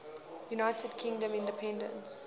united kingdom independence